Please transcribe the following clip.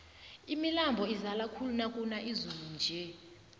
imilambo izala khulu nakuna izulu nje